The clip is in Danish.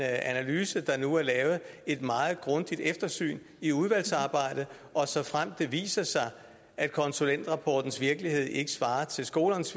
analyse der nu er lavet et meget grundigt eftersyn i udvalgsarbejdet og såfremt det viser sig at konsulentrapportens virkelighed ikke svarer til skolernes